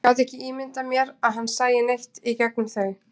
Ég gat ekki ímyndað mér að hann sæi neitt í gegnum þau.